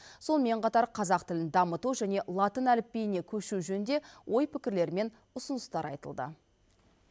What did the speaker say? сонымен қатар қазақ тілін дамыту және латын әліпбиіне көшу жөнінде ой пікірлер мен ұсыныстар айтылды